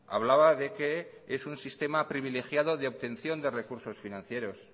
hablaba de que es un sistema privilegiado de obtención de recursos financieros